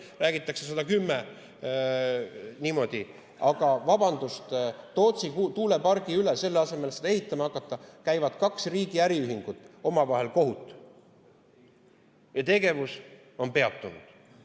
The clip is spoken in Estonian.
Aga vabandust, selle asemel, et seda ehitama hakata, käivad Tootsi tuulepargi pärast kaks riigi äriühingut omavahel kohut ja tegevus on peatunud.